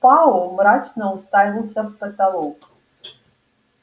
пауэлл мрачно уставился в потолок